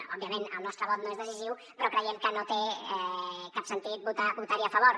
òbviament el nostre vot no és decisiu però creiem que no té cap sentit votarhi a favor